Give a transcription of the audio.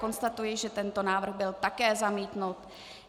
Konstatuji, že tento návrh byl také zamítnut.